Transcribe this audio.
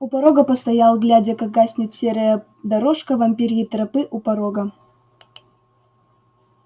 у порога постоял глядя как гаснет серая дорожка вампирьей тропы у порога